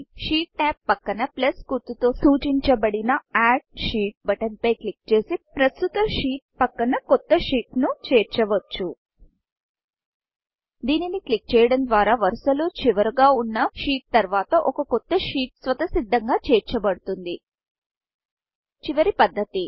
sheet tab పక్కన plus గుర్తు తో సూచించబడిన add sheet button add sheet బటన్పై క్లిక్ చేసి ప్రస్తుత షీట్ తర్వాత కొత్త షీట్ ను చేర్చవచ్చు దీనిని క్లిక్ చేయడం ద్వారా వరుసలో చివరగా వున్నా షీట్ తర్వాత ఒక కొత్త షీట్ స్వతస్సిద్ధంగా చేర్చబడుతుంది చివరి పద్ధతి